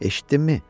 Eşitdinmi?